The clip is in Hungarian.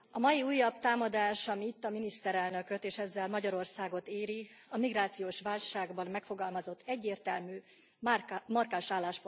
Asszony, a mai újabb támadás, ami itt a miniszterelnököt és ezzel Magyarországot éri, a migrációs válságban megfogalmazott egyértelmű markáns álláspontunkra vezethető vissza.